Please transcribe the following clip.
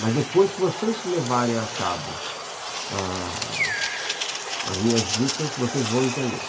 Mas depois que vocês levarem a cabo a a as minhas dicas, vocês vão entender.